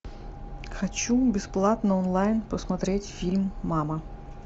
хочу бесплатно онлайн посмотреть фильм мама